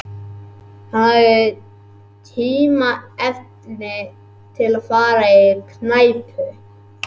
Hann hafði tilefni til að fara á knæpu.